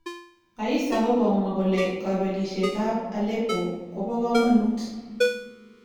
Aisa kokamwa kole kobelishet ab Aleppo kobokomonut.